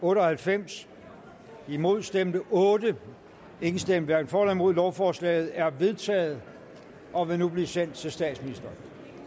otte og halvfems imod stemte otte hverken for eller imod lovforslaget er vedtaget og vil nu blive sendt til statsministeren